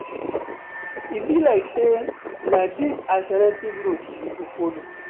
E be like sey na dis alternative route we go folo.